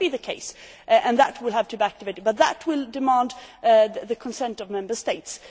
That could be the case, and that will have to be debated, but it will require the consent of Member States.